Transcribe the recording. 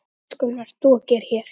Hvað í ósköpunum ert þú að gera hér?